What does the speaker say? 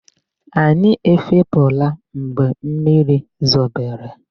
Anyi ẹfepụ̀la mgbe mmiri zobere.